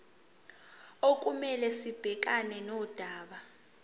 okumele sibhekane nodaba